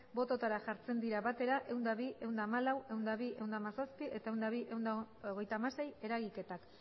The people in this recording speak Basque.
botoetara jartzen dira batera ehun eta bi ehun eta hamalau ehun eta bi ehun eta hamazazpi eta ehun eta bi ehun eta hogeita hamasei eragiketak